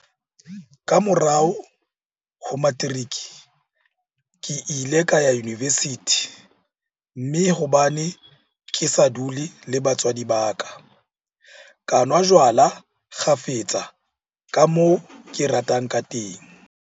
Ka morao ho materiki, ke ile ka ya univesithi, mme hobane ke sa dule le batswadi ba ka, ka nwa jwala kgafetsa ka moo ke ratang kateng.